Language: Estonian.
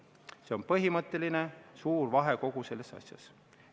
See on põhimõtteline suur vahe kogu selles asjas.